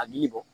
A ji bɔ